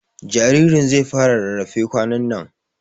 Jaririn zai fara rarrafe kwanan nan